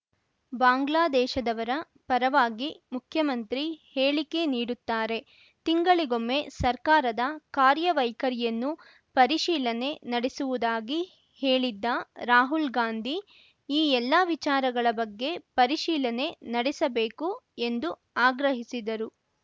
ಬಾಂಗ್ಲಾದೇಶದವರ ಪರವಾಗಿ ಮುಖ್ಯಮಂತ್ರಿ ಹೇಳಿಕೆ ನೀಡುತ್ತಾರೆ ತಿಂಗಳಿಗೊಮ್ಮೆ ಸರ್ಕಾರದ ಕಾರ್ಯವೈಖರಿಯನ್ನು ಪರಿಶೀಲನೆ ನಡೆಸುವುದಾಗಿ ಹೇಳಿದ್ದ ರಾಹುಲ್‌ಗಾಂಧಿ ಈ ಎಲ್ಲಾ ವಿಚಾರಗಳ ಬಗ್ಗೆ ಪರಿಶೀಲನೆ ನಡೆಸಬೇಕು ಎಂದು ಆಗ್ರಹಿಸಿದರು